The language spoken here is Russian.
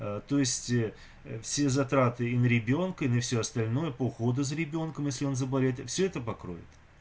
то есть все затраты и на ребёнка и на всё остальное по уходу за ребёнком если он заболеет всё это покроет